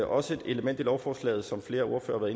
også et element i lovforslaget som flere ordførere